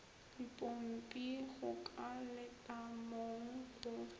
dipompi go ka letamong go